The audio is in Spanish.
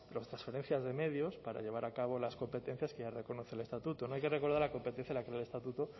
transferencias de medios para llevar a cabo las competencias que ya reconoce el estatuto no hay que recordar la competencia del actual estatuto